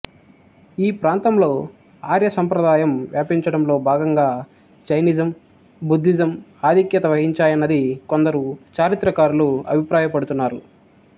ఈ ప్రాతంలో ఆర్యసంప్రాదాయం వ్యాపించడంలో భాగంగా జైనిజం బుద్ధిజం ఆధిక్యత వహించాయన్నది కొందరు చారిత్రకారులు అభిప్రాయపడుతున్నారు